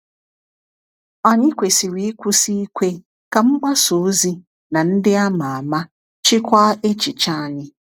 Anyị kwesịrị ịkwụsị ikwe ka mgbasa ozi na ndị ama ama chịkwaa echiche anyị.